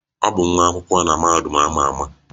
Ọ bụ nwa akwụkwọ na mahadum a ma ama.